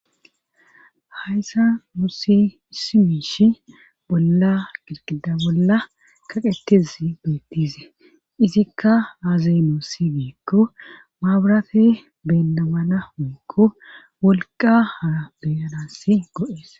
Hayssa musi isi miishi bolla girqida bolla kaqetes beettize izikka aaziy mossi giikko maaburate beennamana woykko wolqa haa beyanassi go7ees